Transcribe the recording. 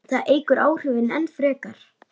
Það eykur áhrifin enn frekar.